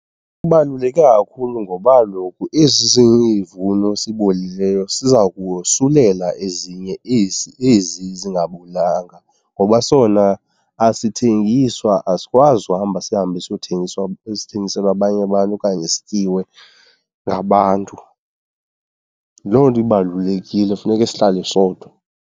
Kubaluleke kakhulu ngoba kaloku esi sivuno sibolileyo siza kosulela ezinye ezi zingabolanga, ngoba sona asithengiswa, asikwazi uhamba sihambe siyothengiswa esithengiselwa abanye abantu okanye sityiwe ngabantu. Yiloo nto ibalulekile funeke sihlale sodwa.